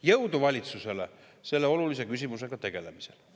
Jõudu valitsusele selle olulise küsimusega tegelemisel.